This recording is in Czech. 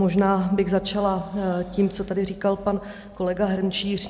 Možná bych začala tím, co tady říkal pan kolega Hrnčíř.